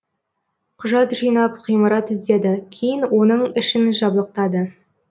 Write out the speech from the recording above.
құжат жинап ғимарат іздеді кейін оның ішін жабдықтады